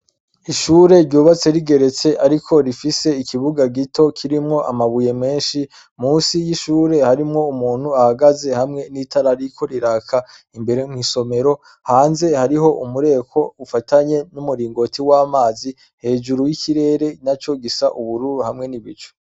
ishure ryubatse rigeretse ariko rifise ikibuga gito kirimwo amabuye menshi munsi y'ishure harimwo umuntu ahagaze hamwe n’itara ririko riraka imbere n’isomero hanze hariho umureko ufatanye n'umuringoti w'amazi hejuru y'ikirere na cyo gisa n’ubururu hamwe n'ibicu